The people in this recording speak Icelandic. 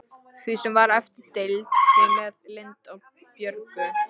Því sem var eftir deildi ég með Lindu og Björgu.